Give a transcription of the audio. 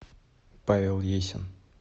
павел есин